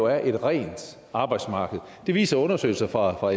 er et rent arbejdsmarked det viser undersøgelser fra